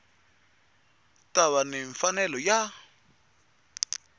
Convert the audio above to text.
ta va ni mfanelo ya